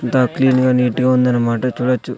అంత క్లీన్ గా నీట్ గా ఉందన్నమాట చూడొచ్చు.